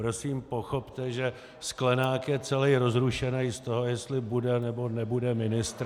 Prosím, pochopte, že Sklenák je celej rozrušenej z toho, jestli bude, nebo nebude ministr.